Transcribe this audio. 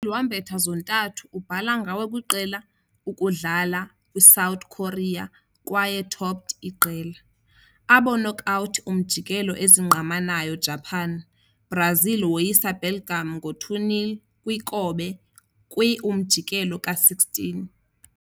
Wambetha zontathu ubhala ngawe kwiqela ukudlala kwi-South Korea kwaye topped iqela. Abo knockout umjikelo ezingqamanayo Japan, Brazil woyisa Belgium 2-0 kwi - Kobe kwi-umjikelo ka-16.